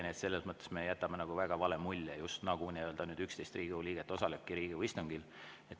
Nii et selles mõttes me jätame väga vale mulje, justnagu vaid 11 Riigikogu liiget osaleks Riigikogu istungil.